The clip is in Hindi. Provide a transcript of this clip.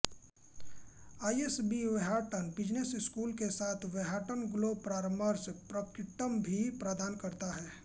आईएसबी व्हार्टन बिजनेस स्कूल के साथ साथ व्हार्टन ग्लोबल परामर्श प्रक्टिकम भी प्रदान करता है